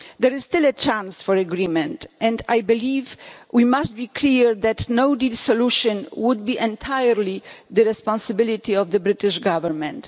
There is still a chance for agreement and I believe that we must be clear that a no deal solution would be entirely the responsibility of the British Government.